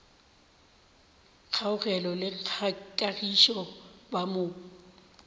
kgaogelo le kagišo ba mo